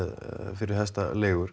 fyrir hestaleigur